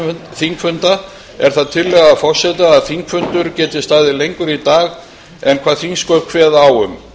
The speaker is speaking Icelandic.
þingfunda er það tillaga forseta að þingfundur geti staðið lengur í dag en hvað þingsköp kveða á um